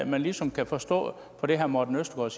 man ligesom kan forstå på det herre morten østergaard